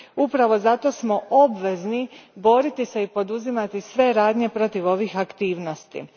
Upravo zato smo obvezni boriti se i poduzimati sve radnje protiv ovih aktivnosti.